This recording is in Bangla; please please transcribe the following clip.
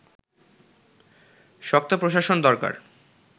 শক্ত প্রশাসন দরকার